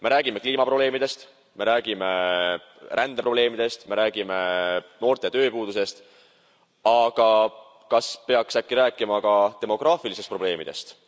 Me räägime kliimaprobleemidest, me räägime rändeprobleemidest, me räägime noorte tööpuudusest, aga kas peaks äkki rääkima ka demograafilistest probleemidest.